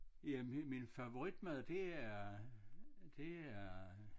Jamen min favoritmad det er det er